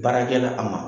Baarakɛla a ma